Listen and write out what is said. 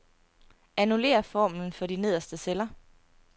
Annullér formlen for de nederste celler.